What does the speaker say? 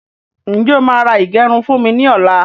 Ǹjẹ́ o máà ra ìgẹrun fún mi ní ọ̀la?